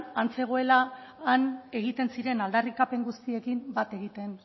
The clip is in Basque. han zegoela han egiten ziren aldarrikapen guztiekin bat egiten